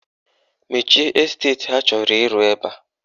Mechie esteti ha chọrọ ịrụ ebe a!